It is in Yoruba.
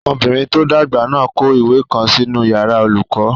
Ọmọbìnrin tó dàgbà náà n kọ ìwé kan nínu yàrá olùkọ́